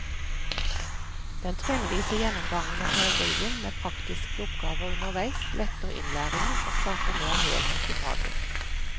Den trinnvise gjennomgangen av teorien med praktiske oppgaver underveis letter innlæringen og skaper mer helhet i faget.